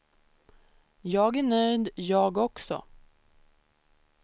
Jag är nöjd, jag också.